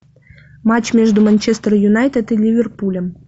матч между манчестер юнайтед и ливерпулем